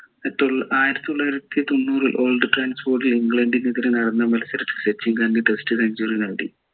ആയിരത്തി തൊള്ളായിരത്തിതൊണ്ണൂറിൽ old trafford ൽ ഇംഗ്ലണ്ടിനെതിരെ നടന്ന മത്സരത്തിൽ സച്ചിൻ തൻ്റെ test century നേടി